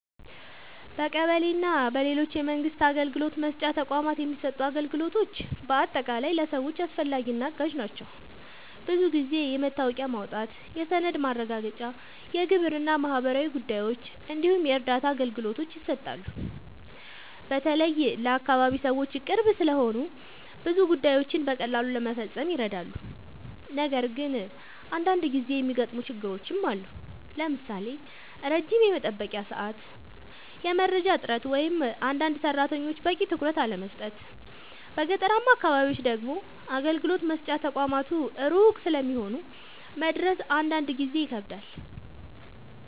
በቀበሌ እና በሌሎች የመንግስት አገልግሎት መስጫ ተቋማት የሚሰጡ አገልግሎቶች በአጠቃላይ ለሰዎች አስፈላጊ እና አጋዥ ናቸው። ብዙ ጊዜ የመታወቂያ ማውጣት፣ የሰነድ ማረጋገጫ፣ የግብር እና ማህበራዊ ጉዳዮች እንዲሁም የእርዳታ አገልግሎቶች ይሰጣሉ። በተለይ ለአካባቢ ሰዎች ቅርብ ስለሆኑ ብዙ ጉዳዮችን በቀላሉ ለመፈጸም ይረዳሉ። ነገር ግን አንዳንድ ጊዜ የሚገጥሙ ችግሮችም አሉ፣ ለምሳሌ ረጅም የመጠበቂያ ሰዓት፣ የመረጃ እጥረት ወይም አንዳንድ ሰራተኞች በቂ ትኩረት አለመስጠት። በገጠራማ አካባቢዎች ደግሞ አገልግሎት መስጫ ተቋማት ሩቅ ስለሚሆኑ መድረስ አንዳንድ ጊዜ ይከብዳል።